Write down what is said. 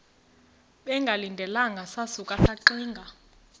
bengalindelanga sasuka saxinga